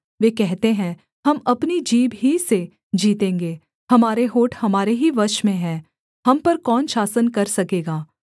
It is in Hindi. वे कहते हैं हम अपनी जीभ ही से जीतेंगे हमारे होंठ हमारे ही वश में हैं हम पर कौन शासन कर सकेगा